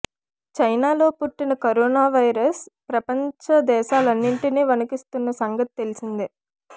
చైనాలో పుట్టిన corona virus ప్రపంచ దేశాలన్నింటినీ వణికిస్తున్న సంగతి తెలిసిందే